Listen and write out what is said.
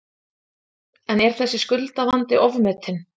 En er þessi skuldavandi ofmetinn?